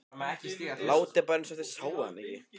Látið bara eins og þið sjáið hann ekki.